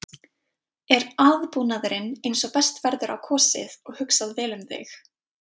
Er aðbúnaðurinn eins og best verður á kosið og hugsað vel um þig?